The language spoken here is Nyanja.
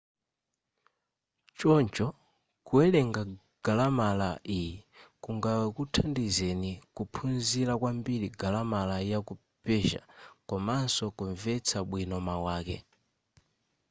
choncho kuwelenga galamala iyi kungakuthandizeni kuphunzila kwambiri galamala yaku persia komanso kunvetsa bwino mau ake